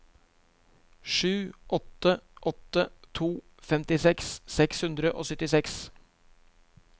sju åtte åtte to femtiseks seks hundre og syttiseks